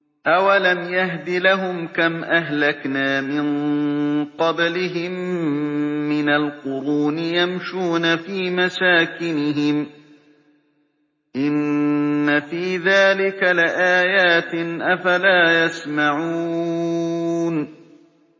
أَوَلَمْ يَهْدِ لَهُمْ كَمْ أَهْلَكْنَا مِن قَبْلِهِم مِّنَ الْقُرُونِ يَمْشُونَ فِي مَسَاكِنِهِمْ ۚ إِنَّ فِي ذَٰلِكَ لَآيَاتٍ ۖ أَفَلَا يَسْمَعُونَ